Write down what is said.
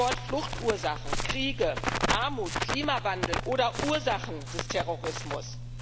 Stichwort Fluchtursachen, Kriege, Armut, Klimawandel oder Ursachen des Terrorismus.